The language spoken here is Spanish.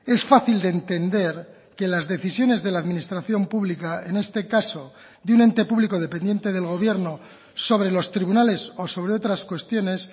es fácil de entender que las decisiones de la administración pública en este caso de un ente público dependiente del gobierno sobre los tribunales o sobre otras cuestiones